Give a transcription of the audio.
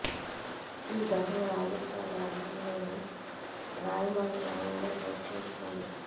ఈ ఘటన రాజస్థాన్ రాష్ట్రంలోని రాయిమల గ్రామంలో చోటు చేసుకుంది